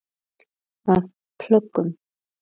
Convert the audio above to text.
Af plöggum